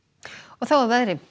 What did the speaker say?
þá að veðri